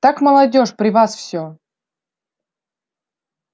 так молодёжь при вас все